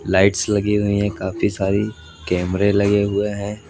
Lights लगी हुईं है काफी सारी कैमरे लगे हुए हैं।